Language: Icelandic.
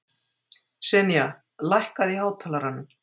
Senía, lækkaðu í hátalaranum.